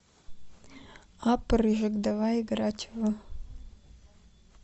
апп рыжик давай играть в